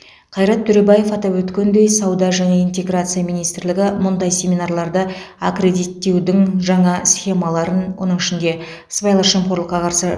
қайрат төребаев атап өткендей сауда және интеграция министрлігі мұндай семинарларда аккредиттеудің жаңа схемаларын оның ішінде сыбайлас жемқорлыққа қарсы